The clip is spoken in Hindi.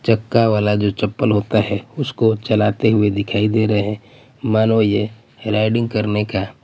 चक्का वाला जो चप्पल जो होता हैं उसको चलाते हुए दिखाई दे रहे हैं मानो ये राइडिंग करने का--